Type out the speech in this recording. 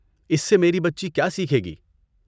اس سے میری بچی کیا سیکھے گی؟